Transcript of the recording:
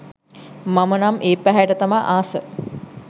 මම නම් ඒ පැහැයට තමා ආස